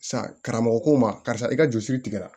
Sa karamɔgɔ ko ma karisa i ka joli siri tigɛra